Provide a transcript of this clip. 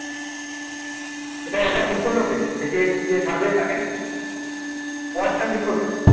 এটা এটা ঠিক করলো কে যে কে ছাড়বে তাকে Wardon ঠিক করবে